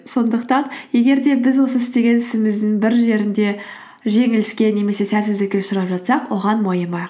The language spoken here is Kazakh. сондықтан егер де біз осы істеген ісіміздің бір жерінде жеңіліске немесе сәтсіздікке ұшырап жатсақ оған мойымайық